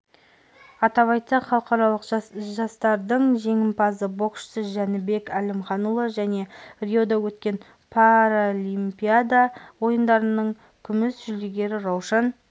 атап айтсақ халықаралық жарыстардың жеңімпазы боксшы жәнібек әлімханұлы және риода өткен паралимпиада ойындарының күміс жүлдегері раушан